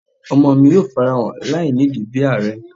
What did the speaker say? Ọmọ mi yoo farahan lainidi bi aarẹ